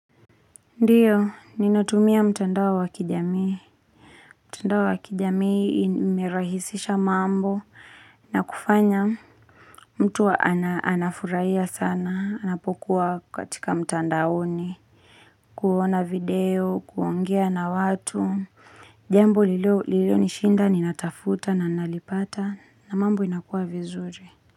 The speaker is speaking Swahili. Ndiyo, ninatumia mtandao wa wa kijamii. Mtandao wa wa kijamii imerahisisha mambo na kufanya mtu anafuraia sana, anapokuwa katika mtandaoni, kuona video, kuongea na watu. Jambo lilinishinda, ninatafuta na nalipata na mambo inakuwa vizuri.